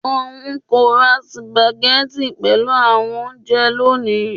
Oun ko ra sùpàgẹ́tì pelu awọn ounjẹ loni